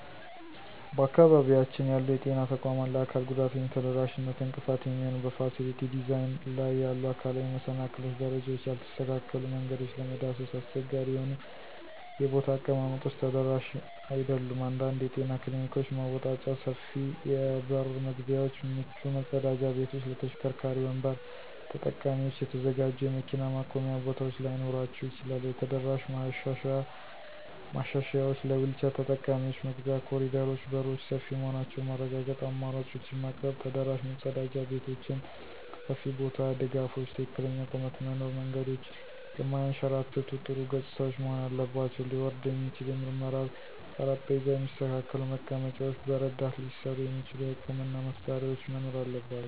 በአካባቢያችን ያሉ የጤና ተቋማት ለአካል ጉዳተኞች ተደራሽነት እንቅፋት የሚሆኑ በፋሲሊቲ ዲዛይን ላይ ያሉ አካላዊ መሰናክሎች - ደረጃዎች፣ ያልተስተካከሉ መንገዶች፣ ለመዳሰስ አስቸጋሪ የሆኑ የቦታ አቀማመጦች ተደራሽ አይደሉም። አንዳንድ የጤና ክሊኒኮች መወጣጫ፣ ሰፊ የበር መግቢያዎች፣ ምቹ መጸዳጃ ቤቶች ለተሽከርካሪ ወንበር ተጠቃሚዎች የተዘጋጁ የመኪና ማቆሚያ ቦታዎች ላይኖራቸው ይችላል። የተደራሽ ማሻሻያዎች - ለዊልቸር ተጠቃሚዎች መግቢያ፣ ኮሪደሮች፣ በሮች ሰፊ መሆናቸውን ማረጋገጥ፣ አማራጮችን ማቅረብ። ተደራሽ መጸዳጃ ቤቶች (ሰፊ ቦታ፣ ድጋፎች፣ ትክክለኛ ቁመት) መኖር። መንገዶች የማያንሸራትቱ፣ ጥሩ ገጽታዎች መሆን አለባቸው። ሊወርድ የሚችል የምርመራ ጠረጴዛ፣ የሚስተካከሉ መቀመጫዎች፣ በረዳት ሊሠሩ የሚችሉ የሕክምና መሳሪያዎች መኖር አለባቸው።